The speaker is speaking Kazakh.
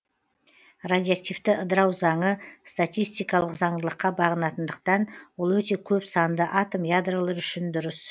радиоактивті ыдырау заңы статистикалық заңдылыққа бағынатындықтан ол өте көп санды атом ядролары үшін дұрыс